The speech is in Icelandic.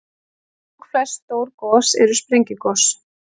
Langflest stór gos eru sprengigos.